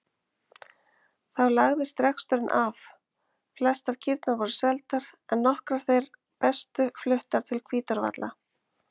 Þá lagðist reksturinn af, flestar kýrnar voru seldar en nokkrar þær bestu fluttar til Hvítárvalla.